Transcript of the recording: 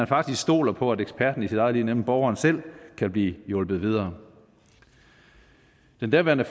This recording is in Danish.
faktisk stoles på at eksperten i sit eget liv altså borgeren selv kan blive hjulpet videre den daværende